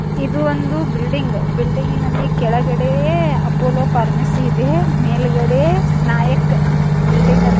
ಇದು ಒಂದು ಬಿಲ್ಡಿಂಗ್ ಬಿಲ್ಡಿಂಗ್ನಲ್ಲಿ ಕೆಳಗಡೆ ಅಪೋಲೋ ಫಾರ್ಮಸಿ ಇದೆ ಮೇಲ್ಗಡೆ ನಾಯಕ್ ಬಿಲ್ಡಿಂಗ್ --